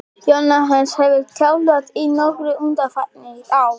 Jóhannes hefur þjálfað í Noregi undanfarin ár.